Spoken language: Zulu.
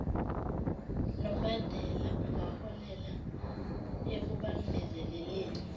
lombandela ungaholela ekubambezelekeni